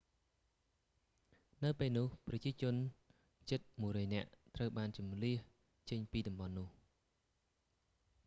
នៅពេលនោះ ប្រជាជនជិត 100 នាក់ត្រូវបានជម្លៀសចេញពីតំបន់នោះ